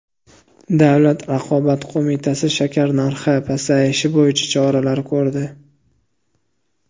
Davlat raqobat qo‘mitasi shakar narxi pasayishi bo‘yicha choralar ko‘rdi.